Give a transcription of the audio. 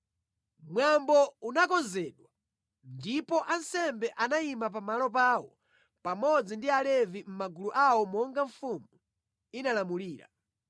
Mwambo unakonzedwa ndipo ansembe anayima pamalo pawo pamodzi ndi Alevi mʼmagulu awo monga mfumu inalamulira.